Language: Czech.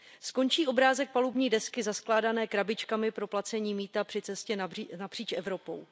Skončí obrázek palubní desky zaskládané krabičkami pro placení mýta při cestě napříč Evropou.